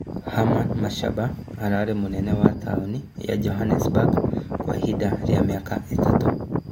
Herman Mashaba ararĩ mũnene wa taũni wa Johannesburg Kwa ihinda rĩa mĩaka ĩtatũ